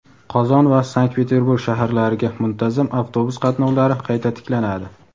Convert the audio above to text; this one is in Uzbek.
Qozon va Sankt-Peterburg shaharlariga muntazam avtobus qatnovlari qayta tiklanadi.